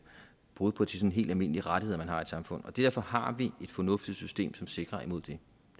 brud på helt almindelige rettigheder man har i samfundet derfor har vi et fornuftigt system som sikrer imod det